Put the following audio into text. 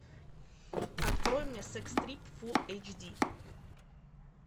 открой мне секс трип фулл эйч ди